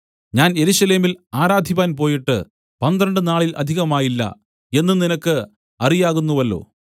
ഞാൻ യെരൂശലേമിൽ ആരാധിപ്പാൻ പോയിട്ട് പന്ത്രണ്ട് നാളിൽ അധികമായില്ല എന്ന് നിനക്ക് അറിയാകുന്നുവല്ലോ